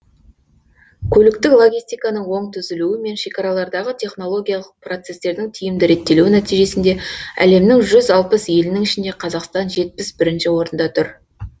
көліктік логистиканың оң түзілуі мен шекаралардағы технологиялық процестердің тиімді реттелуі нәтижесінде әлемнің жүз алпыс елінің ішінде қазақстан жетпіс бірінші орында тұр